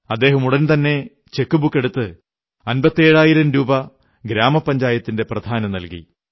അദ്ദേഹം ഉടൻതന്നെ ചെക്കുബുക്കെടുത്ത് അമ്പത്തേഴായിരം രൂപ ഗ്രാമപഞ്ചായത്തിന്റെ പ്രധാനു നൽകി